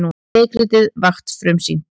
Leikritið Vakt frumsýnt